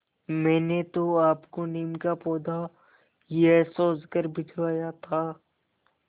मैंने तो आपको नीम का पौधा यह सोचकर भिजवाया था